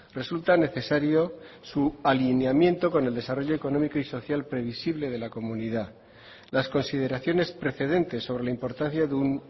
resulta necesario su alineamiento con el desarrollo económico y social previsible de la comunidad las consideraciones precedentes sobre la importancia de un